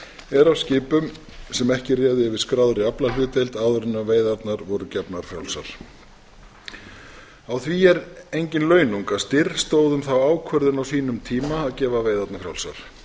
er af skipum sem ekki réðu yfir skráðri aflahlutdeild áður en veiðarnar voru gefnar frjálsar á því er engin launung að styr stóð um þá ákvörðun á sínum tíma að gefa veiðarnar frjálsar